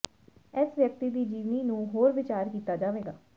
ਇਸ ਵਿਅਕਤੀ ਦੀ ਜੀਵਨੀ ਨੂੰ ਹੋਰ ਵਿਚਾਰ ਕੀਤਾ ਜਾਵੇਗਾ